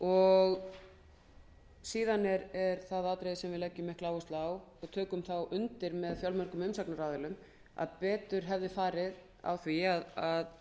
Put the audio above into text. og síðan er það atriði sem við leggjum mikla áherslu á og tökum þá undir með fjölmörgum umsagnaraðilum að betur hefði farið á því að